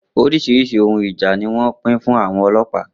Oríṣiríṣi ohun ìjà ni wọ́n pín fún àwọn ọlọ́pàá.